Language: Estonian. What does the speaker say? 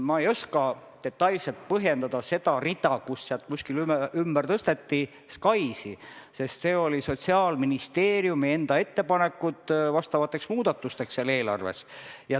Ma ei oska detailselt põhjendada seda rida, kust ümber tõsteti SKAIS-i, sest need oli Sotsiaalministeeriumi enda ettepanekud vastavateks muudatusteks seal eelarves.